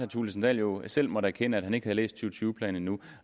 thulesen dahl jo selv måtte erkende at han ikke havde læst to tusind og tyve planen endnu